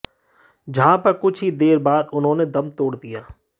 जहां पर कुछ ही देर बाद उन्होंने दम तोड़ दिया